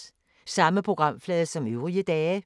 Samme programflade som øvrige dage